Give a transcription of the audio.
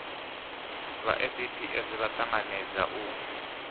vha saps vha tanganedza u